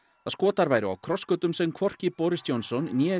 að Skotar væru á krossgötum sem hvorki Boris Johnson né